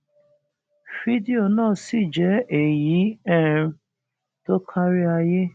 fídíò náà sì jẹ èyí um tó kárí ayé